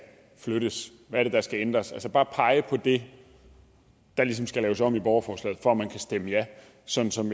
flyttes hvad det er der skal ændres altså bare pege på det der ligesom skal laves om i borgerforslaget for at man kan stemme ja sådan som